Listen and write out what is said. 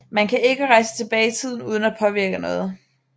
Man kan ikke rejse tilbage i tiden uden at påvirke noget